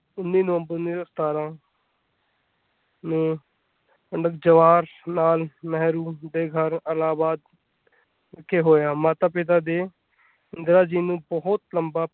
ਉੱਨੀ ਨਵੰਬਰ ਉੱਨੀ ਸੌ ਸਤਾਰਹ ਨੂੰ ਪੰਡਿਤ ਜਵਾਹਰ ਲਾਲ ਨਹਿਰੂ ਦੇ ਘਰ ਇਲਾਹਾਬਾਦ ਵਿਖੇ ਹੋਇਆ ਮਾਤਾ-ਪਿਤਾ ਦੇ ਇੰਦਰਾ ਜੀ ਨੂੰ ਬਹੁਤ ਲੰਬਾ।